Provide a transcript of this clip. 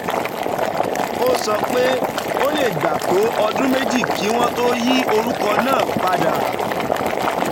ó sọ pé ó lè gbà tó ọdún méjì kí wọ́n tó yí orúkọ náà padà.